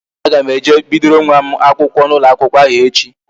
A ga m eje bidoro nwa m akwụkwọ n'ụlọ akwụkwọ ahụ echi